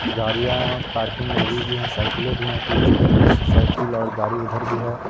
गाड़ियां पार्किंग में लगी हुई हैं । साइकिले भी है कुछ कुछ साईकिल और गाड़ी उधर भी हैं ।